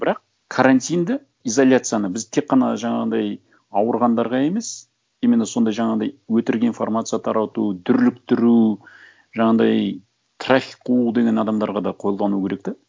бірақ карантинді изоляцияны біз тек қана жаңағындай ауырғандарға емес именно сондай жаңағындай өтірік информация тарату дүрліктіру жаңағындай трафик қуу деген адамдарға да қолдану керек те